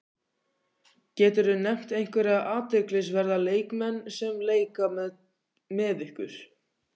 Geturðu nefnt einhverja athyglisverða leikmenn sem leika með ykkur?